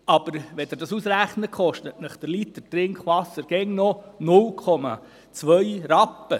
Aber wenn man das ausrechnet, kostet der Liter Trinkwasser immer noch 0,2 Rappen.